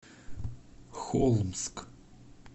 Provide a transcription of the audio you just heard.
холмск